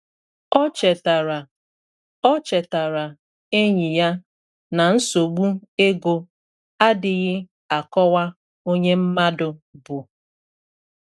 O chetara O chetara enyi ya na nsogbu ego adịghị akọwa onye mmadu bu.